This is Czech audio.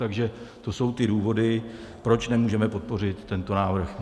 Takže to jsou ty důvody, proč nemůžeme podpořit tento návrh.